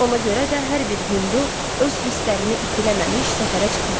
Ona görə də hər bir hindu öz hisslərini itiləməmiş səfərə çıxmaz.